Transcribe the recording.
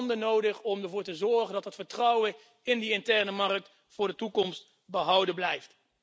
Tanden om ervoor te zorgen dat het vertrouwen in de interne markt in de toekomst behouden blijft.